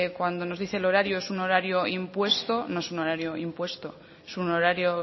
cuando nos dice el horario es un horario impuesto no es un horario impuesto es un horario